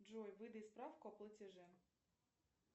джой выдай справку о платеже